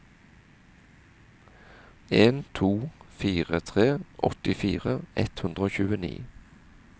en to fire tre åttifire ett hundre og tjueni